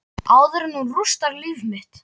Áður en hún rústar líf mitt.